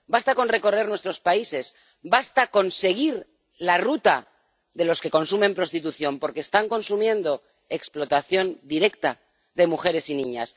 basta con recorrer nuestros países, basta con seguir la ruta de los que consumen prostitución, porque están consumiendo explotación directa de mujeres y niñas.